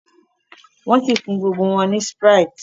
nwọn sí fún gbogbo wón ní sprite